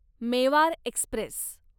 Mewar Express